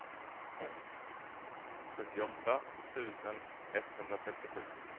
sjuttioåtta tusen etthundratrettiosju